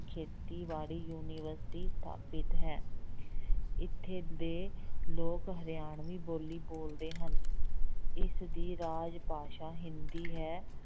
ਖੇਤੀਬਾੜੀ university ਸਥਾਪਿਤ ਹੈ ਇੱਥੇ ਦੇ ਲੋਕ ਹਰਿਆਣਵੀ ਬੋਲੀ ਬੋਲਦੇ ਹਨ, ਇਸ ਦੀ ਰਾਜ ਭਾਸ਼ਾ ਹਿੰਦੀ ਹੈ।